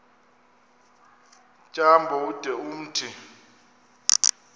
tyambo ude umthi